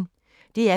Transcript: DR P1